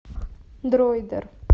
дроидер